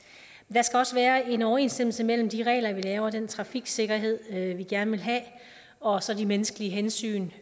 skal også være en overensstemmelse mellem de regler vi laver og den trafiksikkerhed vi gerne vil have og så de menneskelige hensyn